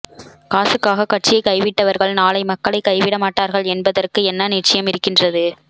காசுக்காக கட்சியை கைவிட்டவர்கள் நாளை மக்களை கைவிட மாட்டார்கள் என்பதற்கு என்ன நிச்சியம் இருக்கின்றது